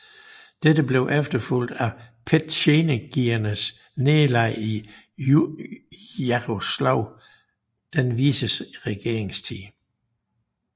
Dette blev efterfulgt af petjenegiernes nederlag i Jaroslav den vises regeringstid